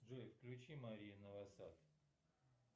джой включи мария новосад